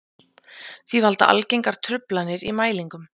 Því valda algengar truflanir í mælingum.